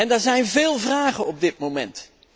Er zijn veel vragen op dit moment.